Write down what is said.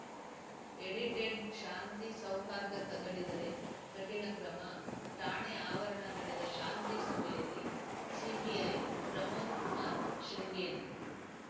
edited ಶಾಂತಿ ಸೌಹಾರ್ದ ಕದಡಿದರೆ ಕಠಿಣ ಕ್ರಮ ಠಾಣೆ ಆವರಣ ನಡೆದ ಶಾಂತಿ ಸಭೆಯಲ್ಲಿ ಸಿಪಿಐ ಪ್ರಮೋದ್‌ಕುಮಾರ್‌ ಶೃಂಗೇರಿ